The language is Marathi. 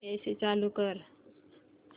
एसी चालू कर